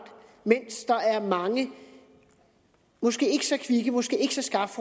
mens der er mange måske ikke så kvikke måske ikke så skarpt